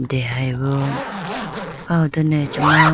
dehyebo aho done acha ma.